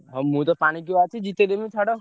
ଆଉ ମୁଁ ତ ଜିତେଇଦେବି ଛାଡ।